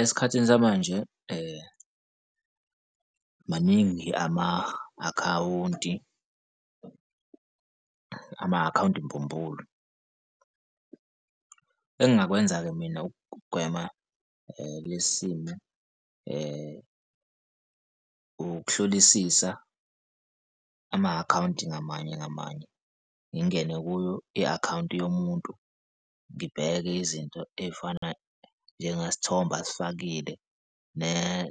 Esikhathini samanje maningi ama-akhawunti, ama-akhawunti mbumbulu. Engingakwenza-ke mina ukugwema lesi simo ukuhlolisisa ama-akhawunti ngamanye ngamanye, ngingene kuyo i-akhawunti yomuntu, ngibheke izinto ey'fana njengasithombe asifakile